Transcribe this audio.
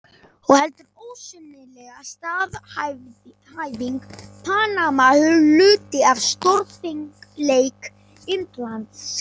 Og heldur ósennileg staðhæfing: PANAMA HLUTI AF STÓRFENGLEIK INDLANDS.